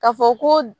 Ka fɔ ko